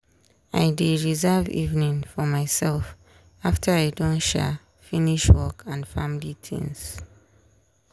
i dey reserve evening for myself after i don um finish work and family tings.